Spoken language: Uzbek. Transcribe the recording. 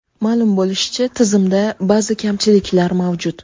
Ma’lum bo‘lishicha, tizimda ba’zi kamchiliklar mavjud.